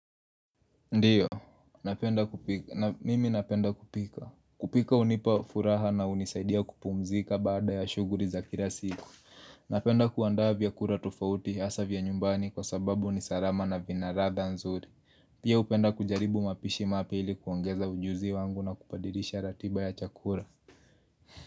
Ndiyo, napenda kupika mimi napenda kupika. Kupika hunipa furaha na hunisaidia kupumzika baada ya shughuli za kila siku. Napenda kuandaa vyakula tufauti hasa vya nyumbani kwa sababu ni salama na vina ladha nzuri. Pia hupenda kujaribu mapishi mapya ili kuongeza ujuzi wangu na kubadilisha ratiba ya chakula.